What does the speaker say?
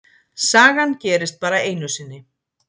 Sagan gerist bara einu sinni.